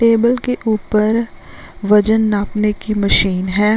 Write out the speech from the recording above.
Table के ऊपर वजन नापने की मशीन है।